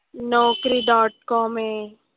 नौकरी dot com आहे.